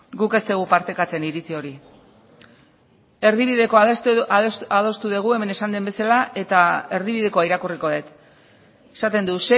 guk ez dugu partekatzen iritzi hori erdibidekoa adostu dugu hemen esan den bezala eta erdibidekoa irakurriko dut esaten du